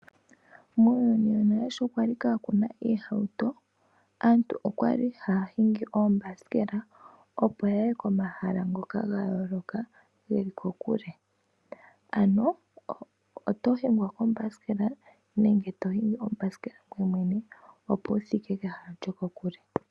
Muuyuni wonale sho kwali kaa kuna oohauto , aantu okwali haya hingi oombasikela opo yaye komahala ngoka gayooloka geli kokule. Ano oto hingwa kombasikela nenge to hingi ombasikela ngweye mwene opo wuthike kehala lyokokule.